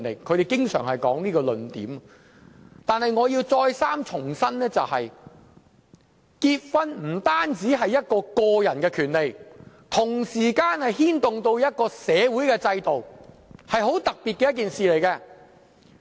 可是，我要重申，結婚不單是個人權利，同時間亦牽動社會制度，是很特別的一件事。